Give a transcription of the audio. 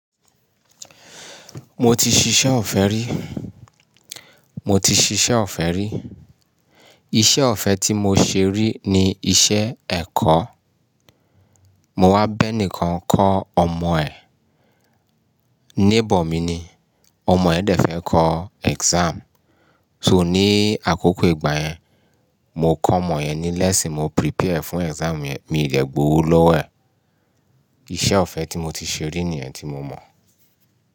Mo ti ṣiṣẹ́ ọ̀fẹ́ rí, mo ti ṣiṣẹ́ ọ̀fẹ́ rí. Iṣẹ́ ọ̀fẹ́ tí mo ṣe rí ni iṣẹ́ ẹ̀kọ́. Mo wá béèni kan ń kọ́ ọmọ ẹ̀, neighbour mi ni. Ọmọ ẹ̀ dẹ̀ fẹ́ kọ exam, so ní àkókò ìgbà yẹn, mo kọ ọmọ yẹn ní lẹ́ṣìn, mo prepare fún exam yẹn, miì dẹ̀ gbowó lọ́wọ́ ẹ̀. Iṣẹ́ ọ̀fẹ́ tí mo ti ṣe rí nìyẹn tí mo mọ̀